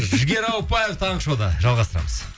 жігер ауыпбаев таңғы шоуда жалғастырамыз